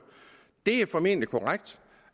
det er formentlig korrekt